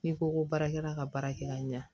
N'i ko ko baarakɛla ka baarakɛla ɲɛ